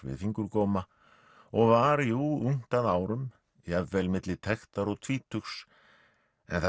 við fingurgóma og var jú ungt að árum jafnvel milli tektar og tvítugs en það